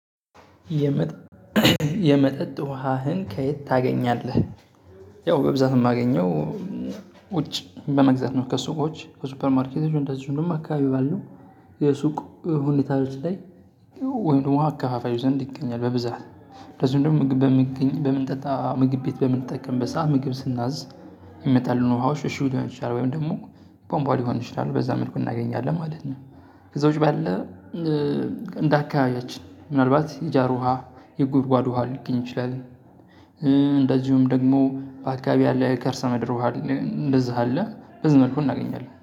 የመጠጥ ውሀህን ከየት ታገኛለህ? ያው በብዛት የማገኘው ውጭ በመግዛት ነው ከሱቆች ከሱፐርማርኬቶች እንደዚህ ደግሞ አካባቢ ባለው የሱቅ ሁኔታ ላይ። ወይም ደግሞ ወሀ አካፋዩ ዘንድ ይገኛል በብዛት። እንደዚሁ ደግሞ ምግብ በምንጠጣ ምግብ ቤት በምንጠቀም ሰዓት ምግብ ስናዝ የሚመጣልን ውሃዎች እሺ ሊሆን ይችላሉ ወይም ደግሞ ባምቧ ሊሆን ይችላል በዛ መልኩ እናገኛለን ማለት ነው። ከዛ ውጪ ባለ እንደ አካባቢያችን ምናልባት የጃር ውሃ የጉድጓድ ውሃ ሊገኝ ይችላል። እንደዚሁም ደግሞ በአካባቢ ያለ የከርሰ ምድር ውሃ። አለ በዚህ መልኩ እናገኛለን